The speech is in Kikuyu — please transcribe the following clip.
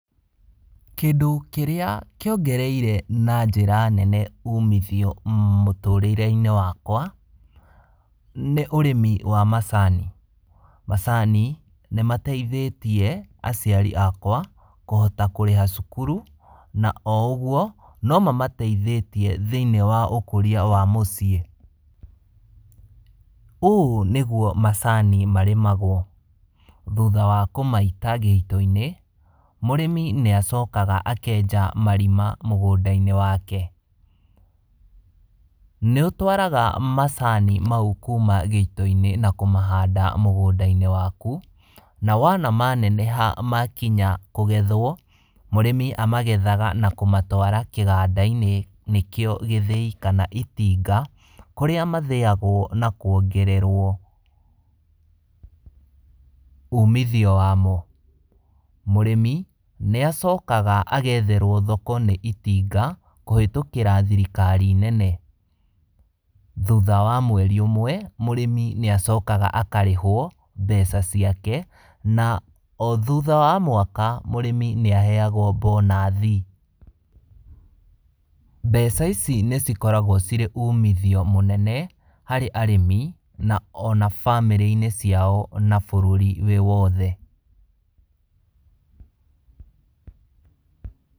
Kĩndũ kĩrĩa kĩongereire na njĩra nene umithio mũtũrĩre-inĩ wakwa, nĩ ũrĩmi wa macani. Macani nĩ mateithĩtie aciari akwa kũhota kũrĩha cukuru na o ũguo, no mamateithĩtie thĩiniĩ wa ũkũria wa mũciĩ. Ũũ nĩguo macani marĩmagwo, thutha wa kũmaita gĩito-inĩ, mũrĩmi nĩ acokaga akenja marima mũgũnda-inĩ wake. Nĩ ũtwaraga macani mau kuuma gĩito-inĩ na kũmahanda mũgũnda-inĩ waku, na wona maneneha makinya kũgethwo, mũrĩmi amagethaga na kũmatwara kĩganda-inĩ nĩkĩo gĩthĩi kana itinga, kũrĩa mathĩagwo na kũongererwo umithio wa mo. Mũrĩmi nĩ acokaga agetherwo thoko nĩ itinga kũhĩtũkĩra thirikari nene. Thutha wa mweri ũmwe, mũrĩmi nĩ acokaga akarĩhwo mbeca ciake, na o thutha wa mwaka mũrĩmĩ nĩaheagwo bonathi. Mbeca ici nĩ cikoragwo cirĩ umitho mũnene harĩ arĩmi, o na bamĩrĩ-inĩ ciao na bũrũri wĩ wothe.